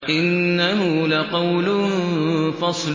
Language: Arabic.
إِنَّهُ لَقَوْلٌ فَصْلٌ